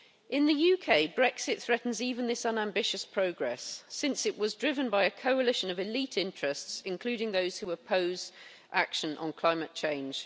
In the UK, Brexit threatens even this unambitious progress, since it was driven by a coalition of elite interests including those who oppose action on climate change.